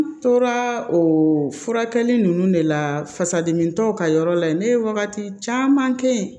N tora o furakɛli ninnu de la fasa dimi tɔw ka yɔrɔ la yen ne ye wagati caman kɛ yen